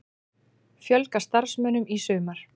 Fjölga starfsmönnum í sumar